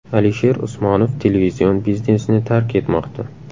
Alisher Usmonov televizion biznesni tark etmoqda.